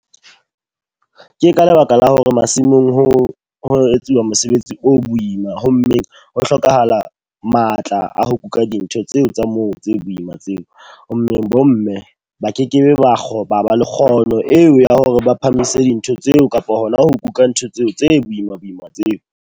Ke ka lebaka la hore masimong ho ho etsuwa mosebetsi o boima. Ho mmeng ho hlokahala matla a ho kuka dintho tseo tsa moo tse boima tseo. Ho mmeng bo mme ba kekebe ba kgoba ba le kgono eo ya hore ba phahamise dintho tseo kapa hona ho kuka ntho tseo tse boima-boima tseo.